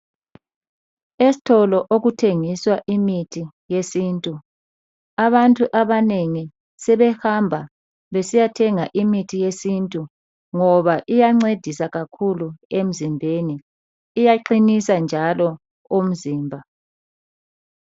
Esitolo okuthengiswa imithi yesintu. Abantu abanengi sebehamba besiyathenga imithi yesintu ngoba iyancedisa kakhulu emzimbeni. Iyaqinisa njalo umzimba.